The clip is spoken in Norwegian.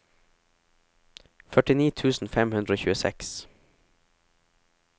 førtini tusen fem hundre og tjueseks